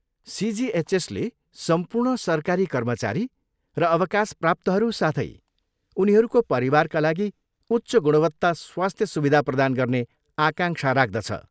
सिजिएचएसले सम्पूर्ण सरकारी कर्मचारी र अवकाशप्राप्तहरू साथै उनीहरूको परिवारका लागि उच्च गुणवत्त स्वास्थ्य सुविधा प्रदान गर्ने आकांक्षा राख्दछ।